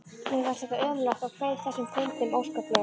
Mér fannst þetta ömurlegt og kveið þessum fundum óskaplega.